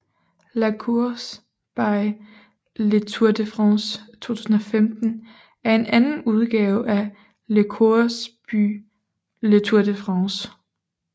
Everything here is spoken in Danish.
La course by Le Tour de France 2015 er anden udgave af La course by Le Tour de France